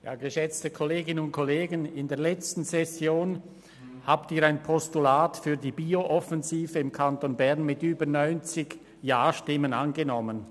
Während der letzten Session haben Sie ein Postulat für die Bio-Offensive im Kanton Bern mit über 90 Ja-Stimmen angenommen.